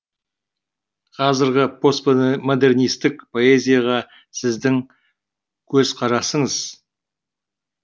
қазіргі постмодернистік поэзияға сіздің көзқарасыңыз